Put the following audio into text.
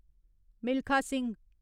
Milkha Singh